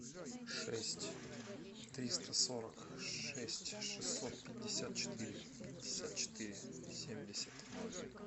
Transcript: шесть триста сорок шесть шестьсот пятьдесят четыре пятьдесят четыре семьдесят ноль